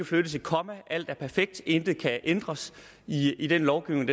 flyttes et komma alt er perfekt intet skal ændres i den lovgivning